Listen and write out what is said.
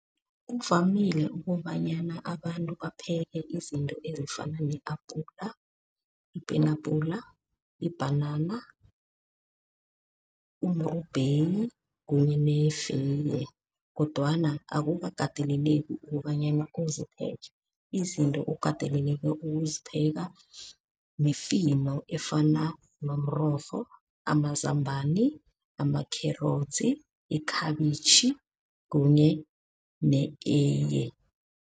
Kuvamile ukobanyana abantu bapheke izinto ezifana ne-apula, ipenabhula, ibhanana, umrubheyi kunye nefeye. Kodwana akukakateleleki ukobanyana uzipheke. Izinto okateleleke ukuzipheka mifino efana nomrorho, amazambana, ama-carrots, ikhabitjhi kunye ne-eyiye.